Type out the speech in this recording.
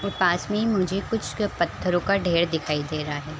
और पास में ही मुझे कुछ क पत्थरो का ढेर दिखाई दे रहा है।